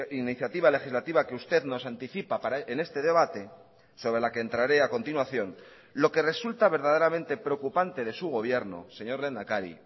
iniciativa legislativa que usted nos anticipa en este debate sobre la que entraré a continuación lo que resulta verdaderamente preocupante de su gobierno señor lehendakari